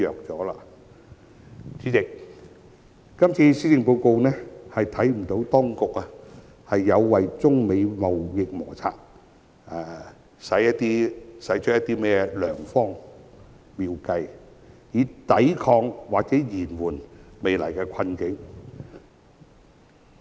主席，我們不能從這份施政報告看到當局為中美貿易摩擦制訂了甚麼良方妙計，以抵抗或延緩未來的困境。